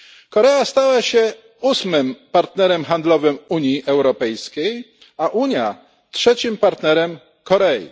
Korea stała się ósmym partnerem handlowym Unii Europejskiej, a Unia trzecim partnerem Korei.